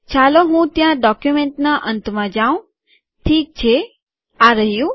ચાલો હું ત્યાં ડોક્યુંમેંટના અંતમાં જાઉં ઠીક છે આ રહ્યું